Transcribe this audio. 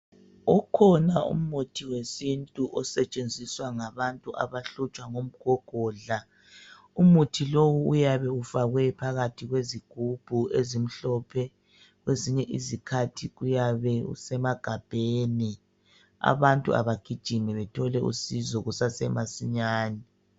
Ukhona umuthi wesintu osetshenziswa ngabantu abahlutshwa ngumgogodla. Umuthi lowu uyabe ufakwe phakathi kwezigubhu ezimhlophe kwezinye izikhathi uyabe usemagabheni. Abantu abagijime baethole usizo kusase masinyane.